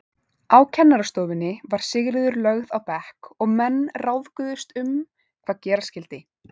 Á kennarastofunni var Sigríður lögð á bekk og menn ráðguðust um hvað gera skyldi.